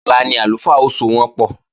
Ọ̀la ni àlùfáà ó sowọ́npọ̀